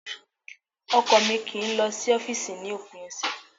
Ọkọ mi kì í lọ sí ọ́fìsì ni òpin ọ̀sẹ̀